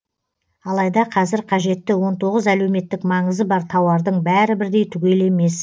алайда қазір қажетті он тоғыз әлеуметтік маңызы бар тауардың бәрі бірдей түгел емес